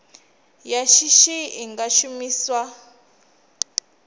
ya shishi i nga shumiswa